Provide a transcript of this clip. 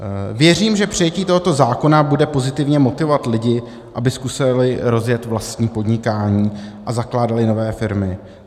Věřím, že přijetí tohoto zákona bude pozitivně motivovat lidi, aby zkusili rozjet vlastní podnikání a zakládali nové firmy.